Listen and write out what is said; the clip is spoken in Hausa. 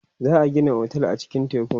za'a Gina otel a cikin tekun